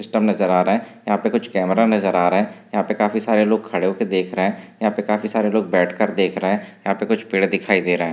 System नजर आ रहा है यहा पे कुछ कैमरा नजर आ रहा है यहा पे काफी सारे लोग खड़े होके देख रहे है यहा पर काफी सारे लोग बैठ के देख रहे है यहा पे कुछ पेड़ दिखाई दे रहे है।